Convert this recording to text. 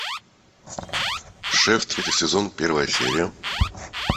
шеф третий сезон первая серия